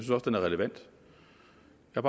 jeg